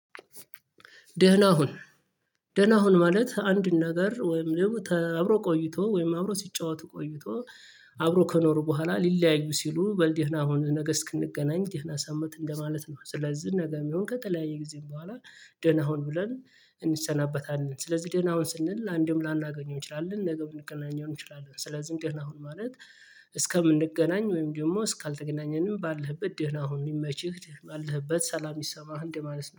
ደህና ሁን ደህና ሁን ማለት አንድ ነገር ወይም ደግሞ አብሮ ቆይቶ ወይም አብሮ ሲጫወቱ ቆይቶ አብሮ ከኖሩ በኋላ ሊለያዩ ሲሉ በል ደህና ሁን ነገ እስክንገናኝ ደህና ሰንብት እንደማለት ነው። ስለዚህ ነገ ይሁን ከተለያየ ጊዜ በኋላ ደህና ሁን ብለን እንሰናበታለን። ስለዚህ ደህና ሁን ስንል ለአንድም ላናገኘው እንችላለን ነገ ልንገናኘው እንችላለን። ስለዚህ ደህና ሁን ማለት እስከምንገናኝ ወይም ደግሞ ካልተገናኘንም ባለህበት ደህና ሁን ይመችህ ባለህበት ሰላም ይስማህ እንደ ማለት ነው